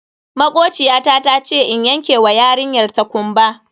Makociyata tace in yanke wa yarinyar ta kumba.